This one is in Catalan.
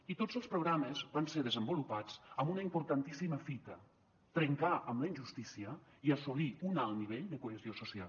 i tots els programes van ser desenvolupats amb una importantíssima fita trencar amb la injustícia i assolir un alt nivell de cohesió social